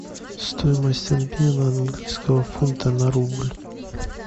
стоимость обмена английского фунта на рубль